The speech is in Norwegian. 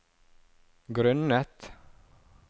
grunnet